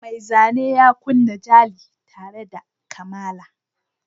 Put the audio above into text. Mai zane yana kunna jali tare da kamala.